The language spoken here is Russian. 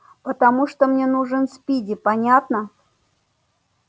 потому что мне нужен спиди понятно